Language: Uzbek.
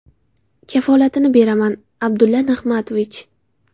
Kafolatini beraman, Abdulla Nig‘matovich.